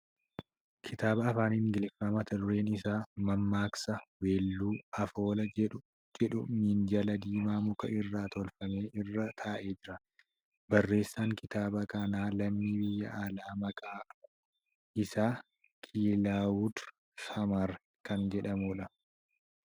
Kitaaba Afaan Ingiliffaa mata dureen isaa ' Mammaaksa, Weelluu, Afoola ' jedhu minjaala diimaa muka irraa tolfame irra taa'ee jira. Barreessaan kitaaba kanaa lammii biyya alaa maqaa maqaan isaa Kilaawud Samar kan jedhamuudha.